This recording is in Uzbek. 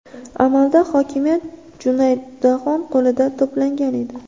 Amalda hokimiyat Junaydxon qo‘lida to‘plangan edi.